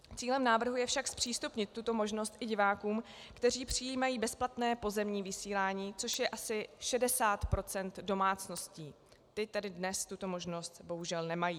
Cílem návrhu je však zpřístupnit tuto možnost i divákům, kteří přijímají bezplatné pozemní vysílání, což je asi 60 % domácností - ty tedy dnes tuto možnost bohužel nemají.